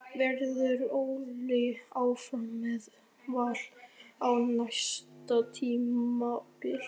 Verður Óli áfram með Val á næsta tímabili?